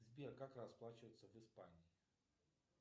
сбер как расплачиваться в испании